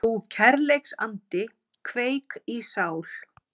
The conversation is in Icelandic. Þú kærleiksandi kveik í sál